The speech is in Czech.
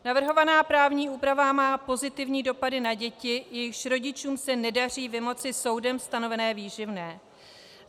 Navrhovaná právní úprava má pozitivní dopady na děti, jejichž rodičům se nedaří vymoci soudem stanovené výživné.